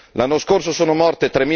L'anno scorso sono morte